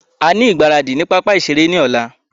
A ní igbaradì ní pápá ìṣeré ní ọ̀la.